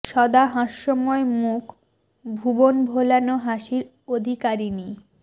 সদা হাস্যময় মুখ ভুবন ভোলানো হাসির অধিকারিণী